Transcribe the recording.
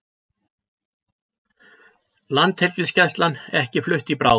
Landhelgisgæslan ekki flutt í bráð